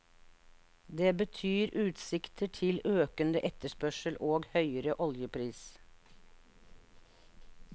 Det betyr utsikter til økende etterspørsel og høyere oljepris.